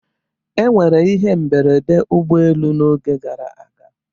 E nwere ihe mberede ụgbọ elu n'oge gara aga.